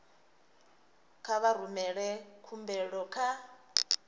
kha vha rumele khumbelo kha